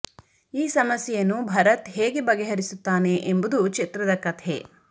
ಈ ಸಮಸ್ಯೆಯನ್ನು ಭರತ್ ಹೇಗೆ ಬಗೆ ಹರಿಸುತ್ತಾನೆ ಎಂಬುದು ಚಿತ್ರದ ಕಥೆ